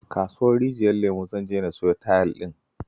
A kasuwar Rijiyar Lemo zan je siyo tayel ɗin